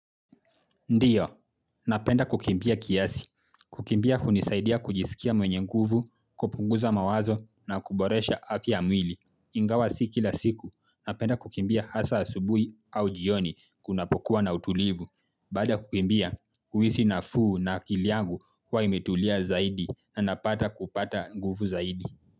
Ndiyo, napenda kukimbia kiasi. Kukimbia hunisaidia kujisikia mwenye nguvu, kupunguza mawazo na kuboresha afya ya mwili. Ingawa si kila siku, napenda kukimbia hasa asubuhi au jioni kunapokuwa na utulivu. Baada ya kukimbia, kuhisi nafuu na akili yangu huwa imetulia zaidi na napata kupata nguvu zaidi.